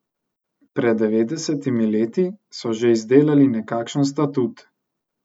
Pred devetdesetimi leti so že izdelali nekakšen statut.